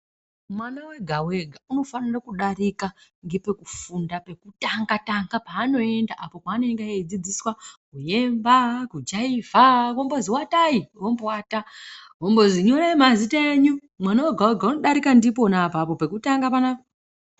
Mwana wega wega unofanira kudarika ngepekufunda pekutanga tanga panoenda apo einenge eidzidziswa kuemb, kujaivha vombozi watai vomboata vombozi nyorai mazita enyu mwana wega wega unodarika ndipona apapo pekutanga panapa.